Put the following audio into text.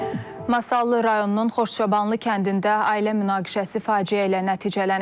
Masallı rayonunun Xoşçobanlı kəndində ailə münaqişəsi faciə ilə nəticələnib.